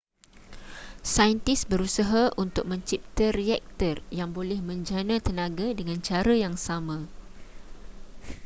saintis berusah untuk mencipta reaktor yang boleh menjana tenaga dengan cara yang sama